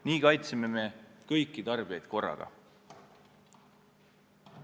Nii kaitseme kõiki tarbijaid korraga.